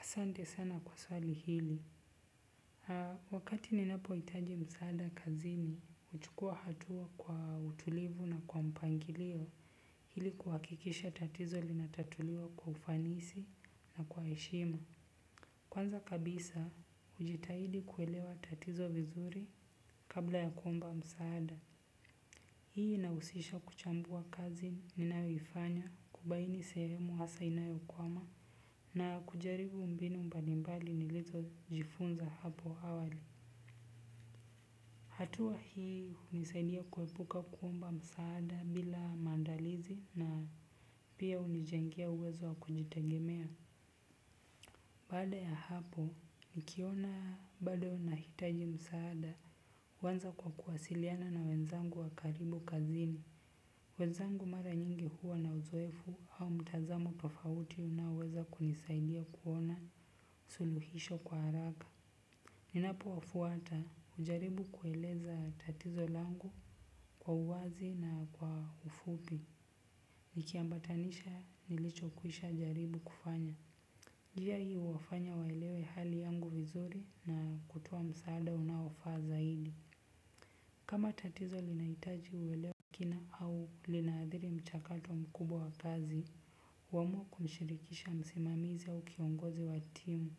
Asante sana kwa swali hili. Wakati ni napo itaji msaada kazini, uchukua hatua kwa utulivu na kwa mpangilio hili kuhakikisha tatizo linatatuliwa kwa ufanisi na kwa eshima. Kwanza kabisa, ujitahidi kuelewa tatizo vizuri kabla ya kuomba msaada. Hii inausisha kuchambua kazi ni nayoifanya kubaini sehemu hasa inayo kwama na kujaribu mbinu mbalimbali nilizo jifunza hapo awali hatu hii hunisaidia kuepuka kuomba msaada bila maandalizi na unijengea uwezo wa kujitegemea. Baada ya hapo, nikiona bado na hitaji msaada, wanza kwa kuwasiliana na wenzangu wakaribu kazini. Wenzangu mara nyingi huwa na uzoefu au mtazamo tofauti unaweza kunisaidia kuona suluhisho kwa haraka. Ninapo wafuata, ujaribu kueleza tatizo langu kwa uwazi na kwa ufupi. Nikiambatanisha, nilicho kuisha jaribu kufanya. Njia hii uwafanya waelewe hali yangu vizuri na kutoa msaada unawafaa zaidi. Kama tatizo linaitaji uwelewa mkina au linaadhiri mchakato mkubwa wa kazi, uamua kumshirikisha msimamizi au kiongozi wa timu.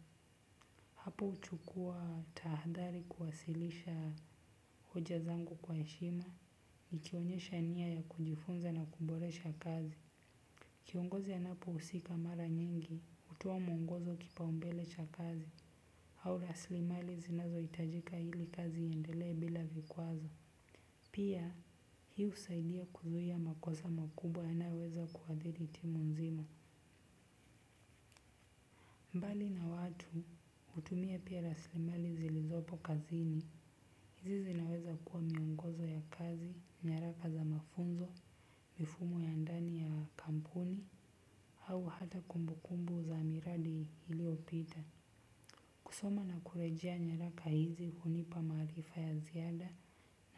Hapo uchukua tahadhari kuwasilisha hoja zangu kwa eshima, nikionyesha nia ya kujifunza na kuboresha kazi. Kiongozi anapo usika mara nyingi, utoa mongozo kipaumbelecha kazi, hau laslimali zinazo itajika hili kazi iendelea bila vikuazo. Pia hiusaidia kuzuia makosa makubwa yanayoweza kuadhili timu nzima. Mbali na watu utumia pia raslimali zilizopo kazini. Hizi zinaweza kuwa miongozo ya kazi, nyaraka za mafunzo, mifumo ya ndani ya kampuni, hau hata kumbukumbu za miradi iliopita. Kusoma na kurejea nyaraka hizi hunipa maarifa ya ziada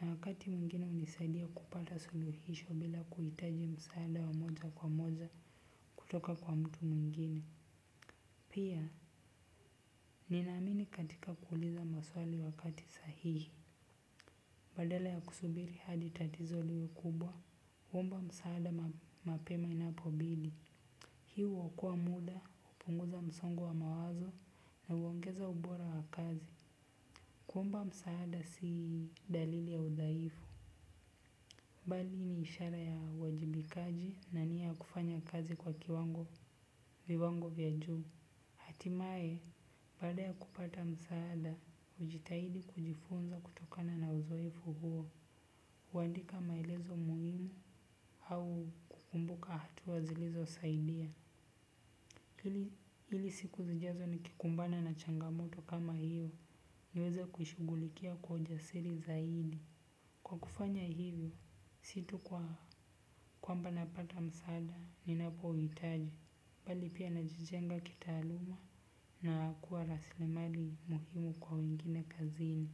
na wakati mwingine unisaidia kupata suluhisho bila kuitaji msaada wa moja kwa moja kutoka kwa mtu mwingine. Pia, ninaamini katika kuuliza maswali wakati sahihi. Badala ya kusubiri hadi tatizo liwe kubwa, uomba msaada mapema inapobidi. Hi huokoa muda upunguza msongo wa mawazo na uongeza ubora wa kazi. Kuomba msaada si dalili ya udhaifu. Bali ni ishara ya wajibikaji na nia kufanya kazi kwa kiwango viwango vya juu. Atimae, baada ya kupata msaada, ujitahidi kujifunza kutokana na uzoefu huo, uandika maelezo muhimu au kukumbuka hatua zilizo saidia. Hili siku zijazo ni kikumbana na changamoto kama hiyo, niweza kushugulikia kwa ujasiri zaidi. Kwa kufanya hivyo si tu kwamba ninapata msaada ninapohitaji bali pia najijenga kitaaluma naakua rasile mali muhimu kwa wengine kazini.